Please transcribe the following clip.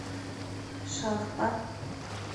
шахта